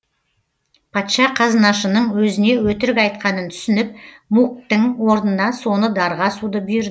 патша қазынашының өзіне өтірік айтқанын түсініп муктің орнына соны дарға асуды бұйырды